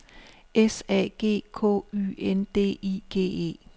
S A G K Y N D I G E